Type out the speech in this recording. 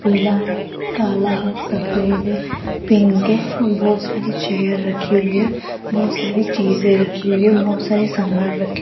पीला है काला है सफेद है पिंक है बहोत सारी चेयर रखी हुई है बहोत सारी चीजे रखी हुई है बहोत सारे सामान रखें --